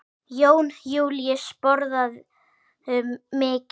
Jón Júlíus: Borðarðu mikið?